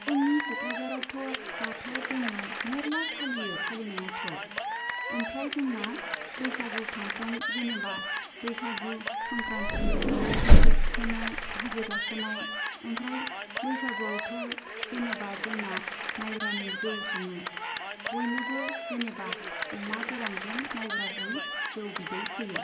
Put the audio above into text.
जोंनि क'क्राझारावथ' दाथ' जोङो मेर्ला फालियो फालिनायाथ'। ओमफ्राय जोंना बैसागु फांसन जेनेबा बैसागु, संख्रान्ति मोसौ थुखैनाय हाजो गाखोनाय ओमफ्राय बैसागुआवथ' जेनेबा जोंना माइब्रानि जौ सङो। बयनोबो जेनेबा अमा गोरानजों मायब्राजों जौ बिदै होयो।